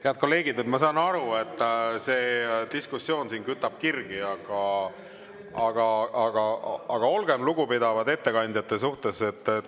Head kolleegid, ma saan aru, et see diskussioon siin kütab kirgi, aga olgem lugupidavad ettekandjate suhtes.